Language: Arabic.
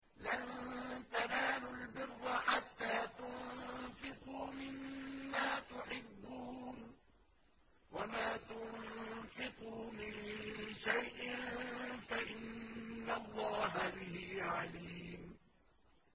لَن تَنَالُوا الْبِرَّ حَتَّىٰ تُنفِقُوا مِمَّا تُحِبُّونَ ۚ وَمَا تُنفِقُوا مِن شَيْءٍ فَإِنَّ اللَّهَ بِهِ عَلِيمٌ